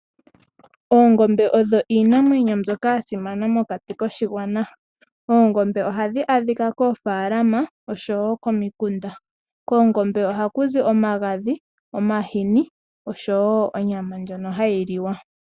Oongombe odho iinamwenyo mbyoka ya simana mokati koshigwana. Oongombe ohadhi adhika koofaalama oshowo komikunda. Koongombe ohaku zi omagadhi, omahini oshowo onyama ndjono hayi liwa.